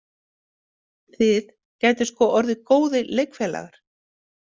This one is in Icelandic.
Þið gætuð sko orðið góðir leikfélagar.